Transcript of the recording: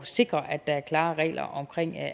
sikre at der er klare regler om